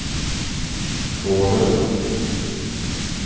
gården